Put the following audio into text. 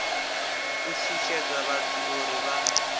u shushedza vhathu uri vha